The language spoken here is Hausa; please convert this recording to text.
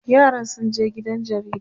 yaran sun je gidan jaridan